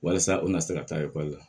Walasa u kana se ka taa ekɔli la